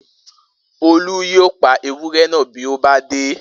Olú yóò pa ewúré náà bí ó bá dé